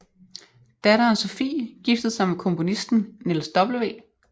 Datteren Sophie giftede sig med komponisten Niels W